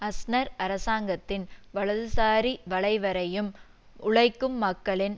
Aznar அரசாங்கத்தின் வலதுசாரி வளைவரையும் உழைக்கும் மக்களின்